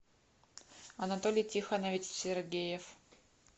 анатолий тихонович сергеев